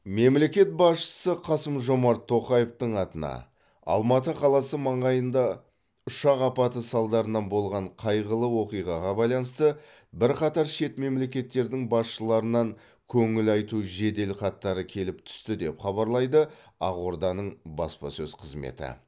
мемлекет басшысы қасым жомарт тоқаевтың атына алматы қаласы маңайында ұшақ апаты салдарынан болған қайғылы оқиғаға байланысты бірқатар шет мемлекеттердің басшыларынан көңіл айту жеделхаттары келіп түсті деп хабарлайды ақорданың баспасөз қызметі